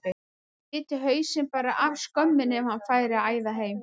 Hann biti hausinn bara af skömminni ef hann færi að æða heim.